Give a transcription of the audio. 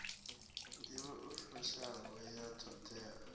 nḓivho i fushaho ya ṱhoḓea